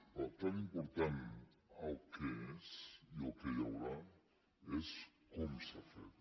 però tan important com el què és i el que hi haurà és com s’ha fet